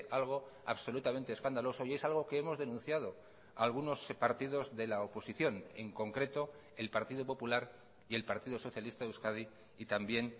algo absolutamente escandaloso y es algo que hemos denunciado algunos partidos de la oposición en concreto el partido popular y el partido socialista de euskadi y también